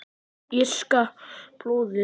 Írska blóðið?